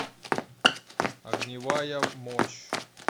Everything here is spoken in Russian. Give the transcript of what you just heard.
огневая мощь